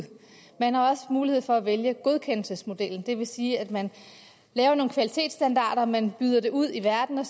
man har også mulighed for at vælge godkendelsesmodellen det vil sige at man laver nogle kvalitetsstandarder man byder dem ud i verden og